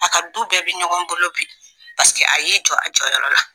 A ka du bɛɛ bɛ ɲɔgɔn bolo bi a y'i jɔ a jɔyɔrɔ la